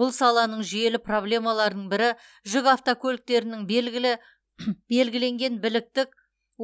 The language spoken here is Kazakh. бұл саланың жүйелі проблемаларының бірі жүк автокөліктердің белгілі белгіленген біліктік